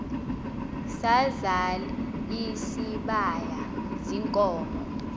sazal isibaya ziinkomo